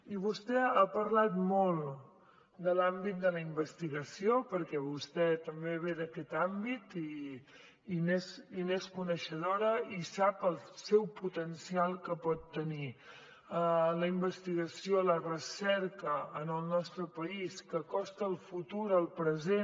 i vostè ha parlat molt de l’àmbit de la investigació perquè vostè també ve d’aquest àmbit i n’és coneixedora i sap el potencial que pot tenir la investigació la recerca en el nostre país que acosta el futur al present